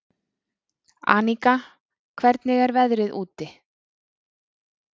Aníka, hvernig er veðrið úti?